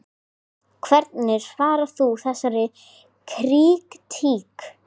Hvernig svarar þú þessari krítík?